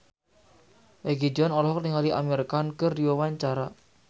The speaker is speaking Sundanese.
Egi John olohok ningali Amir Khan keur diwawancara